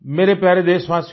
मेरे प्यारे देशवासियो